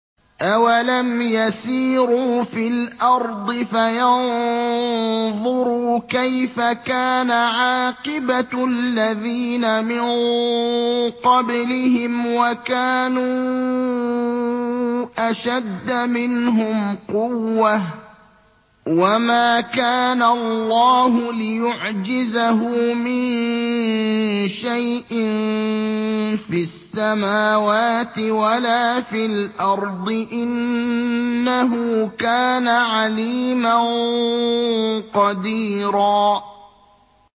أَوَلَمْ يَسِيرُوا فِي الْأَرْضِ فَيَنظُرُوا كَيْفَ كَانَ عَاقِبَةُ الَّذِينَ مِن قَبْلِهِمْ وَكَانُوا أَشَدَّ مِنْهُمْ قُوَّةً ۚ وَمَا كَانَ اللَّهُ لِيُعْجِزَهُ مِن شَيْءٍ فِي السَّمَاوَاتِ وَلَا فِي الْأَرْضِ ۚ إِنَّهُ كَانَ عَلِيمًا قَدِيرًا